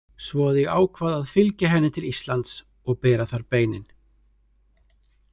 Svo að ég ákvað að fylgja henni til Íslands og bera þar beinin.